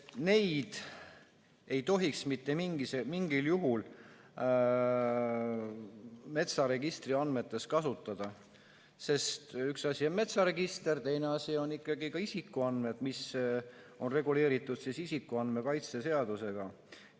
Neid ei tohiks mitte mingil juhul metsaregistri andmetes kasutada, sest üks asi on metsaregister, teine asi on isikuandmed, mis on reguleeritud isikuandmete kaitse seadusega.